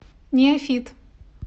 неофит